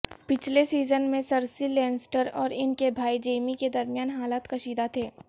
پچھلے سیزن میں Cersei Lannister اور ان کے بھائی جیمی کے درمیان حالات کشیدہ تھے